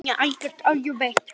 Hann er algert öngvit!